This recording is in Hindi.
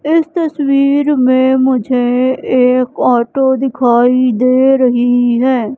इस तस्वीर में मुझे एक ऑटो दिखाई दे रही है।